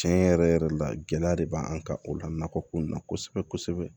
Tiɲɛ yɛrɛ yɛrɛ la gɛlɛya de b'an kan o la nakɔ in na kosɛbɛ kosɛbɛ